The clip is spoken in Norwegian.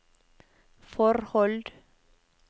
forhold